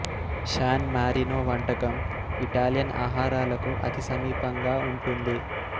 San Marino వంటకం Italian ఆహారాలకు అతి సమీప ంగా ఉంటుంది